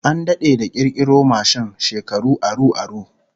An dade da kirkiro mashin, shekaru aru aru